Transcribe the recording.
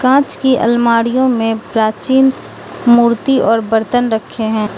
कांच की अलमारीयो में प्राचीन मूर्ति और बर्तन रखे है।